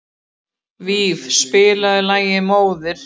Það bætir á skömmina að bíta af henni höfuðið.